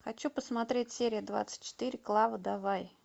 хочу посмотреть серия двадцать четыре клава давай